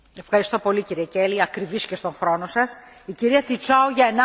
Într adevăr, locuințele sociale țin de serviciile de interes general.